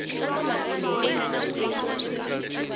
aids swi tekiwa swi ri